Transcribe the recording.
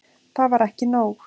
Það var ekki nóg.